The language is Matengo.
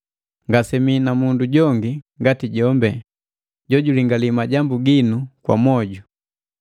Ngasemii na mundu jongi ngati jombi, jojulingali majambu ginu kwa mwojo.